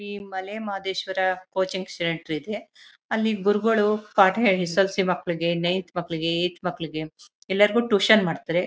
ಈ Male Madeshwara coaching centre ಇದೆ ಅಲ್ಲಿ ಗುರುಗಳು ಪಾಠ ಹೇಳಿ ಎಸ್ ಎಸ್ ಎಲ್ ಸಿ ಮಕ್ಕಳಿಗೆ ನೈನ್ತ್ ಮಕ್ಕಳಿಗೆ ಏಟ್ತ್ ಮಕ್ಕಳಿಗೆ ಎಲ್ಲರಿಗೂ ಟ್ಯೂಷನ್ ಮಾಡ್ತಾರೆ.